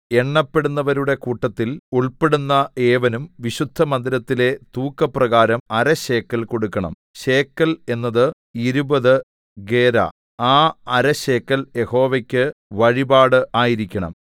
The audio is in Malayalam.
എണ്ണപ്പെടുന്നവരുടെ കൂട്ടത്തിൽ ഉൾപ്പെടുന്ന ഏവനും വിശുദ്ധമന്ദിരത്തിലെ തൂക്കപ്രകാരം അര ശേക്കെൽ കൊടുക്കണം ശേക്കെൽ എന്നത് ഇരുപത് ഗേരാ ആ അര ശേക്കെൽ യഹോവയ്ക്ക് വഴിപാട് ആയിരിക്കണം